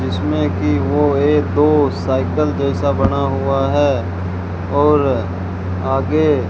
जिसमें कि वो एक दो साइकल जैसा बना हुआ है और आगे --